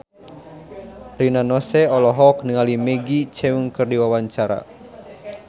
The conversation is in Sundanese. Rina Nose olohok ningali Maggie Cheung keur diwawancara